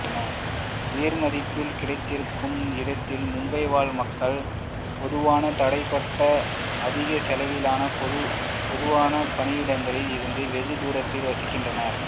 உயர்மதிப்பில் கிடைத்திருக்கும் இடத்தில் மும்பை வாழ்மக்கள் பொதுவாக தடைபட்ட அதிக செலவிலான பொதுவாக பணியிடங்களில் இருந்து வெகு தூரத்தில் வசிக்கிறார்கள்